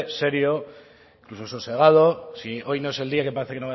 serio incluso sosegado si hoy no es día que parece